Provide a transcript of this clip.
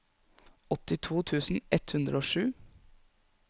åttito tusen ett hundre og sju